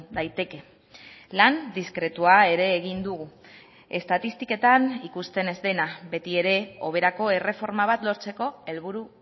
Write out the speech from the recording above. daiteke lan diskretua ere egin dugu estatistiketan ikusten ez dena betiere hoberako erreforma bat lortzeko helburu